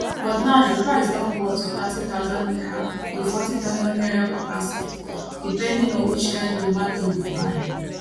but now di price don go up to 30000 naira to 40000 naira per basket depending on which kain tomato you buy